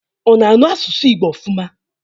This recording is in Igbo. Ọ na asụ asụsụ Igbo ofụma?